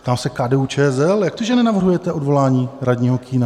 Ptám se KDU-ČSL: Jak to, že nenavrhujete odvolání radního Kühna?